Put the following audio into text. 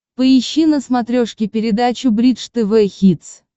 поищи на смотрешке передачу бридж тв хитс